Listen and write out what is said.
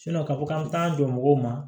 k'a fɔ k'an t'an jɔ mɔgɔw ma